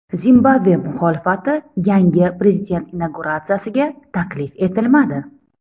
Zimbabve muxolifati yangi prezident inauguratsiyasiga taklif etilmadi.